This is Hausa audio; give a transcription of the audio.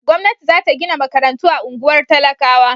Gwamnati za ta gina makarantu a unguwar talakawa.